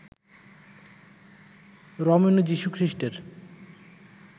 রমণী যীশুখ্রীষ্টের